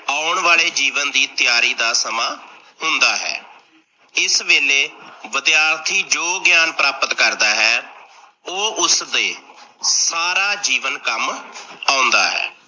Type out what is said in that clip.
ਆਉਣ ਵਾਲੇ ਜੀਵਨ ਦੀ ਤੀਆਰੀ ਦਾ ਸਮਾਂ ਹੁੰਦਾ ਹੈ, ਇਸ ਵੇਲੇ ਵਿਦਿਆਰਥੀ ਜੋ ਗਿਆਨ ਪ੍ਰਾਪਤ ਕਰਦਾ ਹੈ ਓਹ ਉਸਦੇ ਸਾਰਾ ਜੀਵਨ ਕੰਮ ਆਉਂਦਾ ਹੈ।